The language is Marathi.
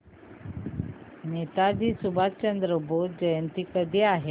नेताजी सुभाषचंद्र बोस जयंती कधी आहे